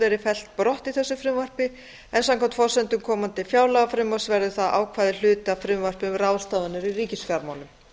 verið fellt brott í þessu frumvarpi en samkvæmt forsendum komandi fjárlagafrumvarps verður það ákvæði hluti af frumvarpi um ráðstafanir í ríkisfjármálum